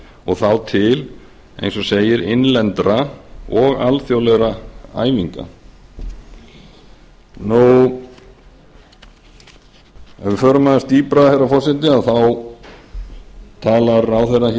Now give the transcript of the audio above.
og þá til eins og segir innlendra og alþjóðlegra æfinga ef við förum aðeins dýpra herra forseti þá talar ráðherra